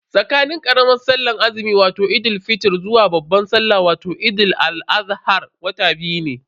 Tsakanin karamar sallar azumi wato Eid fitr zuwa babban salla wato Eid al-adha wata biyu ne.